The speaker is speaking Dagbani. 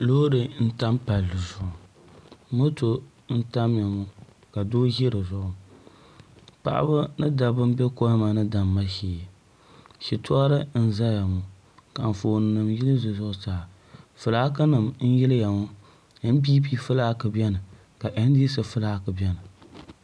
Loori n tam palli zuɣu moto n tamya ŋo ka doo ʒi dizuɣu paɣaba ni dabba n bɛ kohamma ni damma shee shitori n ʒɛya ŋo ka Anfooni nim yili di zuɣusaa fulaaki nim n yiliya ŋo npp fulaaki biɛni ka ndc fulaaki biɛni